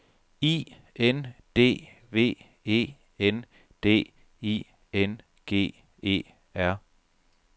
I N D V E N D I N G E R